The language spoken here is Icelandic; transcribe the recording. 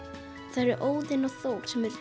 það eru Óðinn og Þór sem eru